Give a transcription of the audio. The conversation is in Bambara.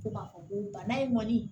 Ko ka fɔ ko bana in kɔni